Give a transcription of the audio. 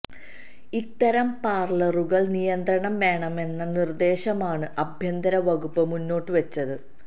ഇത്തരം പാർലറുകൾക്ക് നിയന്ത്രണം വേണമെന്ന നിർദേശമാണ് ആഭ്യന്തര വകുപ്പ് മുന്നോട്ട് വച്ചത്